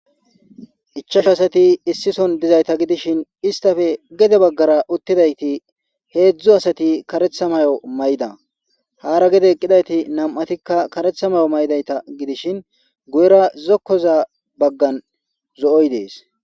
Ichchashu asati issi sohon diyasssata gidishin istappe gede bagara uttidaytti heedzdzu asati kareththa mayo mayida. Haara gede eqidayti nam'atikka kareththa mayo mayida gidishin guyera zokkoza baggan zo'oy dees.